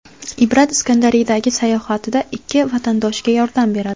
Ibrat Iskandariyadagi sayohatida ikki vatandoshiga yordam beradi.